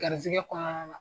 Garizɛgɛ kɔnɔna na.